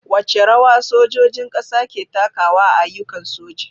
Wace rawa sojojin kasa ke takawa a ayyukan soji?